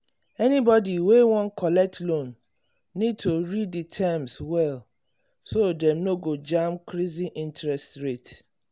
anybody wey wan wan collect loan need to read the terms well so dem no go jam crazy interest rate.